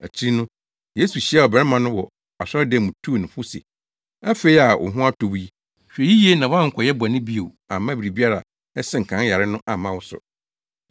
Akyiri no, Yesu hyiaa ɔbarima no wɔ asɔredan mu tuu no fo se, “Afei a wo ho atɔ wo yi, hwɛ yiye na woankɔyɛ bɔne bio amma biribi a ɛsen kan yare no amma wo so.”